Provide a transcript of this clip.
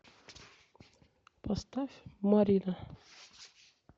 поставь марина